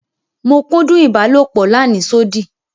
Mo kúndún ibàlọpò làníṣòdí.